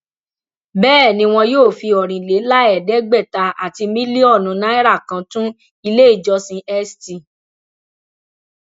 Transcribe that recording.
bẹẹ ni wọn yóò fi ọrìnléláẹẹdẹgbẹta àti mílíọnù náírà kan tún ilé ìjọsìn st